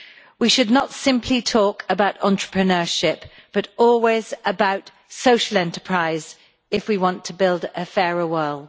We should not simply talk about entrepreneurship but always about social enterprise, if we want to build a fairer world.